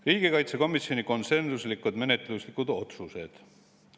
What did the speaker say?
Riigikaitsekomisjoni konsensuslikud menetluslikud otsused.